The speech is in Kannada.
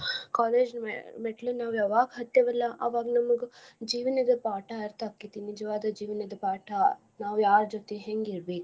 College . ಮೆಟ್ಲು ನಾವ್ ಯಾವಾಗ ಹತ್ತೇವಲ್ಲಾ ಅವಾಗ್ ನಮ್ಗ ಜೀವನದ ಪಾಠ ಅರ್ಥ ಆಕ್ಕೆತಿ ನಿಜವಾದ ಜೀವನದ ಪಾಠ ನಾವ್ ಯಾರ ಜೊತೆ ಹೆಂಗಿರ್ಬೆಕು.